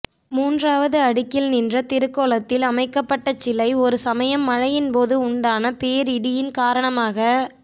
மூன்றாவது அடுக்கில் நின்ற திருக்கோலத்தில் அமைக்கப்பட்ட சிலை ஒரு சமயம் மழையின் போது உண்டான பேரிடியின் காரணமாகச்